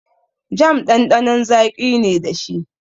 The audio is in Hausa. Jam ɗanɗanon zaƙi ne dashi.